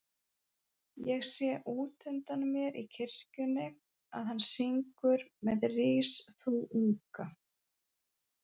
Ég sé útundan mér í kirkjunni að hann syngur með Rís þú unga